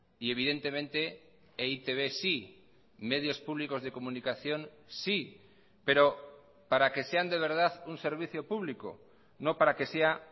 y evidentemente eitb sí medios públicos de comunicación sí pero para que sean de verdad un servicio público no para que sea